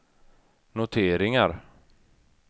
noteringar